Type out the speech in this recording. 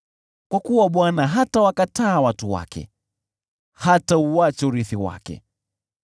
Kwa kuwa Bwana hatawakataa watu wake, hatauacha urithi wake.